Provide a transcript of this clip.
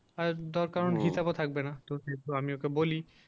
আর দরকার থাকবেনা তো আমি ওকে বলি